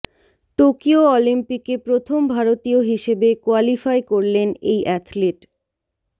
Tokyo অলিম্পিকে প্রথম ভারতীয় হিসেবে কোয়ালিফাই করলেন এই অ্যাথলিট